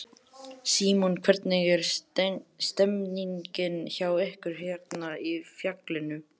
Símon: Hvernig er stemningin hjá ykkur hérna í fjallinu?